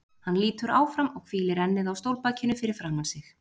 Hann lýtur áfram og hvílir ennið á stólbakinu fyrir framan sig.